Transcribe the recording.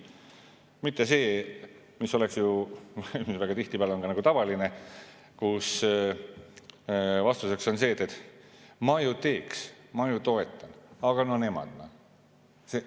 Tihtipeale on tavaline, et vastus, et ma ju teeks, ma ju toetan, aga no nemad.